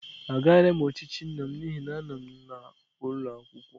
Agaraghị m ochichi nna m n'ihi na m nọ n'ụlọ akwụkwọ.